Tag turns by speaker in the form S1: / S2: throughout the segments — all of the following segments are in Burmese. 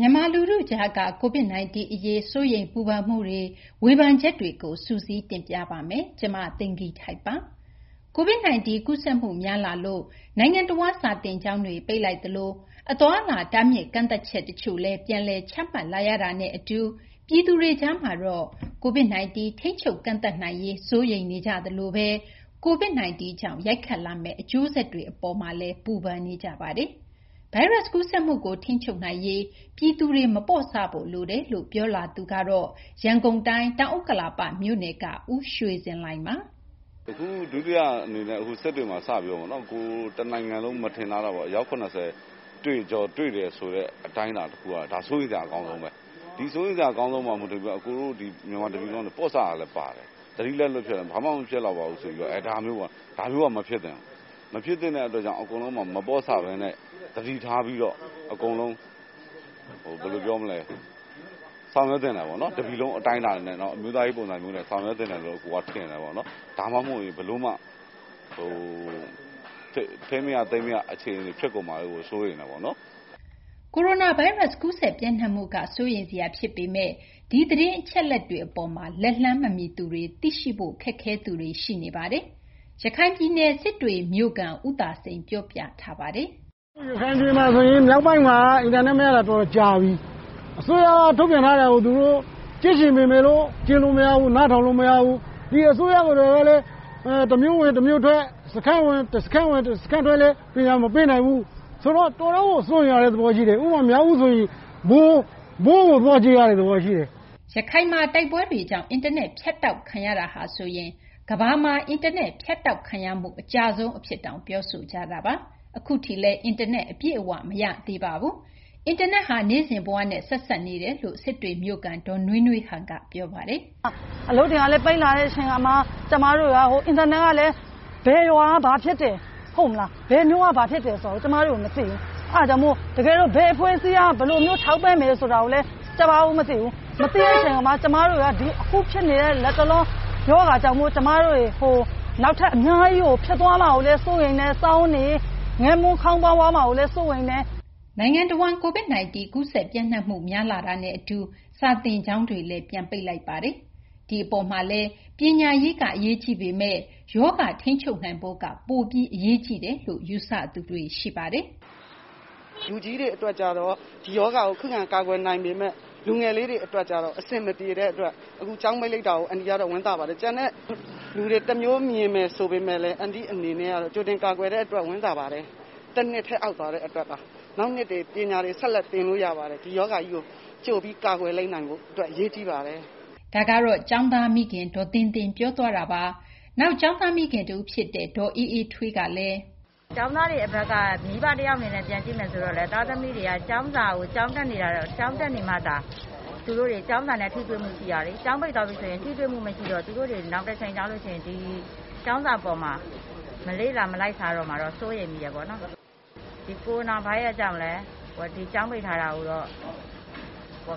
S1: မြန်မာ လူထုကြားက COVID 19 အရေး စိုးရိမ်ပူပန်မှုတွေ ဝေဖန်ချက်တွေကို စုစည်း တင်ပြပေးပါမယ်။ သတင်းအပြည့်အစုံကို မသိင်္ဂ ီထိုက် ပြောပြပေးမှာပါ။ COVID 19 ကူးစက်မှုများလာလို့ နိုင်ငံတဝန်း စာသင်ကျောင်းတွေ ပိတ်လိုက်သလို အသွားအလာ တားမြစ် ကန့်သတ်ချက် တချို့လည်း ပြန်လည် ချမှတ်လာရတာနဲ့ အတူ ပြည်သူတွေကြားမှာတော့ COVID 19 ထိန်းချုပ် ကန့်သတ်နိုင်ရေး စိုးရိမ်ပူပန်နေကြသလို COVID 19 ကြောင့် ရိုက်ခတ်လာမယ့် အကျိုးဆက်တွေ အပေါ်မှာလည်း ပူပန်နေကြပါတယ်။ ဗိုင်းရပ်စ် ကူးစက်မှုကို ထိန်းချုပ်နိုင်ရေး ပြည်သူတွေဘက်က မပေါ့ဆဖို့ လိုတယ်လို့ ပြောလာသူကတော့ ရန်ကုန်တိုင်း တောင်ဥက္ကလာပ မြို့နယ်က ဦးရွှေဇင်လှိုင်ပါ။
S2: “အခု ဒုတိယ အနေနဲ့ စစ်တွေမှာ စပြီးတော့ပေါ့နော် COVID ပိုး တနိုင်ငံလုံး မထင်ထားတာပေါ့။ အယောက် ၇၀ တွေ့တယ်ဆိုတဲ့ အတိုင်းအတာ တခုက ဒါ စိုးရိမ်စရာ အကောင်းဆုံးဘဲ။ ဒီ စိုးရိမ်စရာ အကောင်းဆုံး အပေါ် မူတည်ပြီး အကိုတို့ ဒီ မြန်မာ တပြည်လုံး ပေါ့ဆတာလည်း ပါတယ်။ သတိလက်လွတ်ဖြစ်တာ။ ဘာမှ မဖြစ်လောက် ပါဘူးဆိုပြီး။ ဒါမျိုးပေါ့။ ဒါမျိုးက မဖြစ်သင့်ဘူး။ မဖြစ်သင့်တဲ့ အတွက်ကြောင့် အကုန်လုံး မပေါ့ဆဘဲနဲ့ သတိထားပြီးတော့ အကုန်လုံး ဆောင်ရွက်သင့်တယ်ပေါ့နော်။ တပြည်လုံး အတိုင်းအတာနဲ့ အမျိုးသားရေး ပုံစံနဲ့ ဆောင်ရွက်သင့်တယ်လို့ အကိုက ထင်တယ်ပေါ့နော်။ ဒါမှမဟုတ်ရင် ဘယ်လိုမှ ထိန်းမရ သိမ်းမရ အခြေအနေ ဖြစ်ကုန်မှာကို စိုးရိမ်တာပေါ့နော်။
S1: ” ကိုရိုနာဗိုင်းရပ်စ် ကူးစက် ပျံ့နှံ့မှုက စိုးရိမ်စရာ ဖြစ်ပေမယ့် ဒီသတင်း အချက်အလက်တွေ အပေါ်မှာ လက်လှမ်းမမီသူတွေ သိရှိဖို့ ခက်ခဲသူတွေ ရှိနေပါတယ်။ ရခိုင်ပြည်နယ် စစ်တွေမြိုကခံ ဦးသာစိန် ပြောပြထားပါတယ်။ “ ရခိုင်ပြည်မှာ ဆိုရင် မြောက်
S2: ပိုင်းမှာက အင်တာနက် မရတာ တော်တော်ကြာပြီ။ အစိုးရက ထုတ်ပြန်ထားတာကို သူတို့ ကြည့်ချင်ပေမယ်လို့ ကြည့်လို့ မရဘူး၊ နားထောင်လို့ မရဘူး။ ဒီ အစိုးရ အနေနဲ့ကလည်း တမြို့ဝင် တမြို့ထွက် တစခန်းဝင် တစခန်း ထွက်လည်း ပညာ မပေးနိုင်ဘူး။ ဆိုတော့ အကုန်လုံးကို စိုးရိမ်ရတဲ့ သဘော ရှိတယ်။ ဥပမာ-မြောက်ဦးဆိုရင် ဘုတ်ကို သွားကြည့်ရတဲ့ သဘောရှိတယ်။
S1: ” ရခိုင်မှာ တိုက်ပွဲတွေကြောင့် အင်တာနက် ဖြတ်တောက်ခံရတာဟာဆိုရင် ကမ္ဘာမှာ အင်တာနက် ဖြတ်တောက်ခံရမှု အကြာဆုံးအဖြစ်တောင် ပြောဆိုကြတာပါ။ အခုအထိလည်း အင်တာနက် အပြည့်အ၀ မရသေးပါဘူး။ အင်တာနက်ဟာ နေ့စဉ်ဘဝနဲ့ ဆက်စပ်နေတယ်လို့ စစ်တွေမြို့ခံ ဒေါ်နွေးနွေးဟန်က ပြောလာပါတယ်။
S3: “ အလုပ်တွေကလည်း ပိတ်လာတဲ့ အချိန်အခါမှာ ကျမတို့က အင်တာနက်ကလည်း ဘယ်ရွာက ဘာဖြစ်တယ် ဟုတ်လား၊ ဘယ်မြို့က ဘာဖြစ်တယ်ဆိုတာ ကျမတို့ မသိဘူး။ အဲဒါကြောင့်မို့လို့ ဘယ်အဖွဲ့အစည်းက ဘယ်လိုမျိုး ထောက်ပံ့တယ် ဆိုတာကိုလည်း ကျမတို့ မသိဘူး။ မသိတဲ့ အချိန်မှာ ကျမတို့က အခု ဖြစ်နေတဲ့ လတ်တလော ရောဂါကြောင့်မို့ ကျမတို့ တတွေ နောက်ထပ် အများကြီးကို ဖြစ်သွားမှာကိုလည်း စိုးရိမ်တယ်။ စားဝတ်နေရေး ငတ်မွတ် ခေါင်းပါးသွားမှာကိုလည်း စိုးရိမ်တယ်။ ” နိုင်ငံတဝန်း COVID 19
S1: ကူးစက် ပံျ့နှံ့မှု များလာတာနဲ့ အတူ စာသင်ကျောင်းတွေ ပြန်ပိတ်လိုက်ပါတယ်။ ဒီမှာလည်း ပညာရေးက အရေးကြီးပေမယ့် ရောဂါ တားဆီးနိုင်ဖို့က အရေးကြီးတယ်လို့ ယူဆသူတွေ ရှိပါတယ်။
S3: “ဒီရောဂါကို ခုခံ ကာကွယ်နိုင်ပေမယ့် လူငယ်လေးတွေ အတွက်ကျတော့ အဆင်မပြေတဲ့ အတွက် အခု ကျောင်းပိတ်လိုက်တာကို အန်တီကတော့ ဝမ်းသာပါတယ်။ ကျန်တဲ့သူတွေ တမျိုး မြင်တယ် ဆိုပေမယ့်လည်း အန်တီ့ အနေနဲ့ကတော့ ကြိုတင် ကာကွယ်တဲ့ အတွက် ဝမ်းသာပါတယ်။ တနှစ်ထဲ အောက်သွားတဲ့ အတွက်ပါ။ နောက်နှစ်တွေ ပညာတွေ ဆက်လက် သင်လို့ ရပါတယ်။ ဒီရောဂါကြီးကို ကြိုပြီး ကာကွယ်လိုက်နိုင်ဖို့ အရေးကြီးပါတယ်။
S1: ” ဒါက ကျောင်းသား မိခင် ဒေါ်သင်းသင်း ပြောသွားတာပါ။ ကျောင်းသား မိခင် တဦး ဖြစ်တဲ့ ဒေါ်အေးအေးထွေးကလည်
S3: း “ကျောင်းသားတွေ အတွက်က မိဘ တယောက် အနေနဲ့ ပြန်ကြည့်မယ် ဆိုတော့လည်း သားသမီးတွေက ကျောင်းစာကို ကျောင်းတက်နေမှသာ သူတို့တွေ ကျောင်းစာနဲ့ ထိတွေ့မှု ရှိမှာလေ။ ကျောင်းပိတ် သွားလို့ ရှိရင် ထိတွေ့မှု မရှိတော့ သူတို့တွေ နောင်တချိန် ရောက်လို့ ရှိရင် ဒီ ကျောင်းစာပေါ်မှာ မလေ့လာ မလိုက်စားတော့မှာတော့ စိုးရိမ်မိတယ်ပေါ့နော်။ ဒီ ကိုရိုနာဗိုင်းရပ်စ်ကြောင့်လည်း ဒီ ကျောင်းပိတ်ထားတာကြောင့်တော့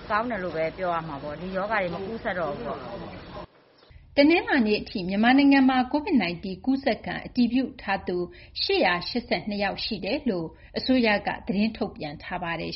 S3: ကောင်းတယ်လို့ဘဲ ပြောရမှာပေါ့။ ဒီရောဂါတွေ မကူးစက်တော့ဘူးပေါ့။”
S1: တနလာၤနေ့ အထိ မြန်မာနိုင်ငံမှာ COVID 19 ကူးစက်ခံ အတည်ပြုထားသူ ၈၈၂ ယောက် ရှိကြောင်း အစိုးရက သတင်းထုတ်ပြန်ထားပါတယ်